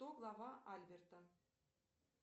кто глава альберта